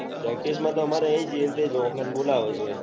practice માં તો એજ જે આપડે ને બોલાવે છે